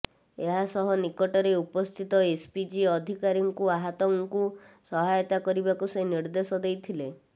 ଏହା ସହ ନିକଟରେ ଉପସ୍ଥିତ ଏସ୍ପିଜି ଅଧିକାରୀଙ୍କୁ ଆହତଙ୍କୁ ସହାୟତା କରିବାକୁ ସେ ନିର୍ଦେଶ ଦେଇଥିଲେ